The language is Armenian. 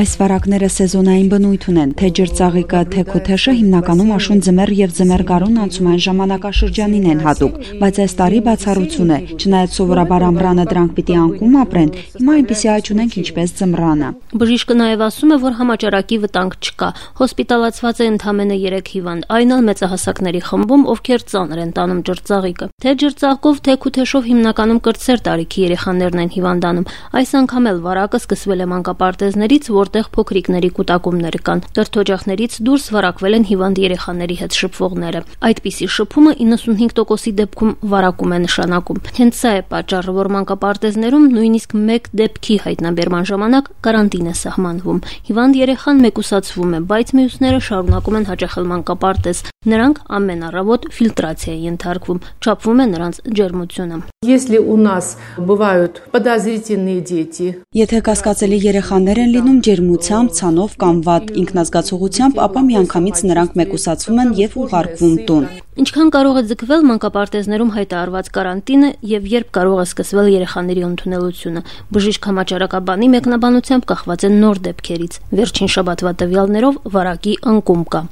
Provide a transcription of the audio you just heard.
«Այս վարակները սեզոնային բնույթ ունեն. թե՛ ջրծաղիկը, թե՛ քութեշը հիմնականում աշուն- ձմեռ եւ ձմեռ գարուն անցումային ժամանակաշրջանին են հատուկ: Բայց այս տարի բացառություն է, չնայած սովորաբար ամռանը դրանք պիտի անկում ապրեն, հիմա այնպիսի աճ ունենք ինչպես ձմռանը»: Բժիշկը նաեւ ասում է, որ համաճարակի վտանգ չկա. հոսպիտալացված ընդամենը երեք հիվանդ կա, այն էլ մեծահասակների խմբում, ովքեր ծանր են տանում ջրծաղիկը: Թե՛ ջրծաղկով, թե՛ քութեշով հիմնականում կրտսեր տարիքի երեխաներն են հիվանդանում, այս անգամ էլ վարակը սկսվել է մանկապարտեզներից, որտեղ փոքրիկների կուտակումներ կան. կրթօջախներց դուրս վարակվել են հիվանդ երեխաների հետ շփվողները: Այդպիսի շփումը 95 տոկոսի դեպքում վարակում է նշանակում: Հենց սա է պատճառը, որ մանկապարտեզներում գոնե մեկ դեպքի հայտանբերման դեպքում կարանտին է սահմանվում: Հիվանդ երեխան մեկուսացվում է, բայց մյուսները շարունակում են հաճախել մանկապարտեզ, նրանք ամեն առավոտ ֆիլտրացիայի են ենթարկվում, չափվում է նրանց ջերմությունը: «Եթե կասկածելի երեխաներ են լինում’ ջերմությամբ, ցանով կամ վատ ինքնազգացողությամբ, ապա միանագամից նրանք մեկուսացվում են եւ ուղարկվում տուն»: Ինչքան կարող է ձգվել մանկապարտեզներում հայտարարված կարանտինը եւ երբ կարող է սկսվել երեխաների ընդունելությունը: Բժիշկ հակահամաճարակաբանի մեկնաբանությամբ կախված է նոր դեպքերից: Վերջին շաբաթվա տվյալներով վարակի անկում կա: